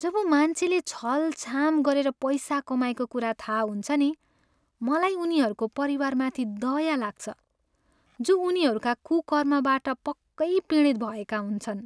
जब मान्छेले छलछाम गरेर पैसा कमाएको कुरा थाहा हुन्छ नि, मलाई उनीहरूको परिवारमाथि दया लाग्छ, जो उनीहरूका कुकर्मबाट पक्कै पीडित भएका हुन्छन्।